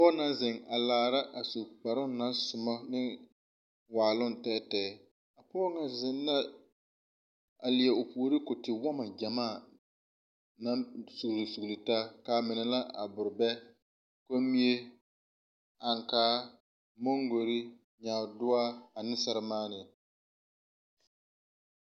Pɔg naŋ zeŋ a laara a su kparoo naŋ somɔ ne waaloŋ tɛɛtɛɛ pɔɔ ŋa zeŋ la a lie o puore ko tewɔmɔ gyamaa naŋ sugle sugle taa ka mine la aborebɛ, kommie, aŋkaa, mongorre, nyaadoɔ ane sɛremaanee.